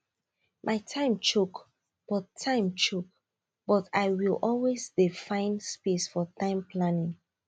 my time choke but time choke but i will always dey find space for time planning